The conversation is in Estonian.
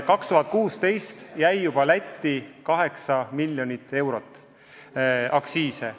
2016. aastal jäi juba Lätti 8 miljonit eurot aktsiise.